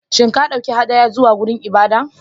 Shin ka ɗauki hadaya zuwa wurin ibada?